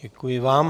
Děkuji vám.